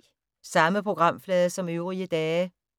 Samme programflade som øvrige dage